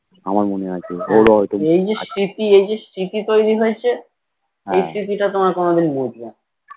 এই যে স্মৃতি এই যে স্মৃতি তৈরী হয়েছে এই স্মৃতি টা তোমরা কোনোদিন মুছবেনা